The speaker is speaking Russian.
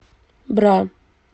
бра